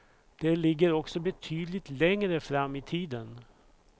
Det ligger också betydligt längre fram i tiden.